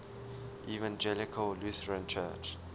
evangelical lutheran church